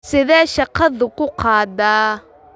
Sidee shaqadu kuu qaadaa?